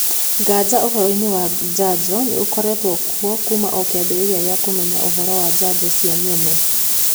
Nganja ũhoroinĩ wa njanjo nĩ ũkoretwo kuo kuuma o kĩambĩrĩria gĩa kũmenya ũhoro wa njanjo cio nyene.